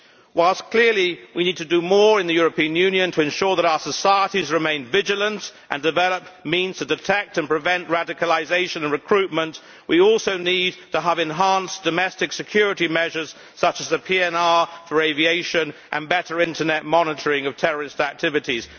Whilst clearly we need to do more in the European Union to ensure that our societies remain vigilant and develop means to detect and prevent radicalisation and recruitment, we also need to have enhanced domestic security measures, such as the passenger name records system for aviation, and better internet monitoring of terrorist activities.